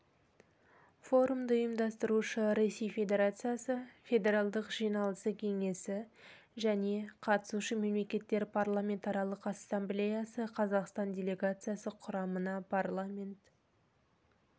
форумды ұйымдастырушы ресей федерациясы федералдық жиналысы кеңесі және қатысушы мемлекеттер парламентаралық ассамблеясы қазақстан делегациясы құрамына парламент